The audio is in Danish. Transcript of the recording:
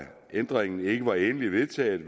ændringen ikke var endeligt vedtaget